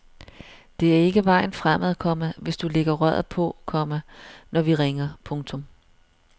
Det er ikke vejen fremad, komma hvis du lægger røret på, komma når vi ringer. punktum